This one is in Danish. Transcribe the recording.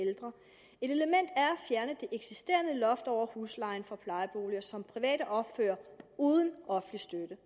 fjerne det eksisterende loft over huslejen for plejeboliger som private opfører uden offentlig støtte